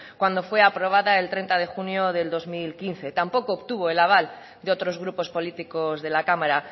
cuando fue aprobada el treinta de junio del dos mil quince tampoco obtuvo el aval de otros grupos políticos de la cámara